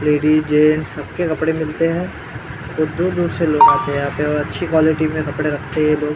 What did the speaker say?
Ladies gents सबके कपड़े मिलते है बहुत दूर दूर से लोग आते है यहाँ पे और अच्छी क्वालिटी में कपडे रखते है ये लोग।